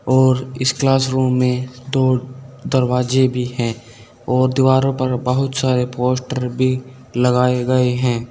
और इस classroom में दो दरवाजे भी हैं और दीवारों पर बहुत सारे पोस्टर भी लगाए गए हैं।